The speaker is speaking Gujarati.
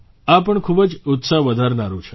આ પણ ખૂબ જ ઉત્સાહ વધારનારું છે